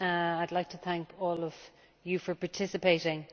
I would like to thank all of you for participating.